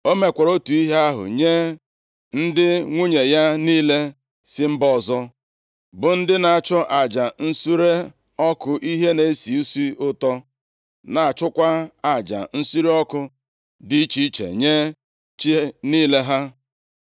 O mekwara otu ihe ahụ nye ndị nwunye ya niile si mba ọzọ, bụ ndị na-achụ aja nsure ọkụ ihe na-esi isi ụtọ, na-achụkwa aja nsure ọkụ dị iche iche nye chi niile ha.